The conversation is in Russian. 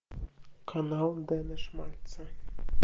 канал дена шмальца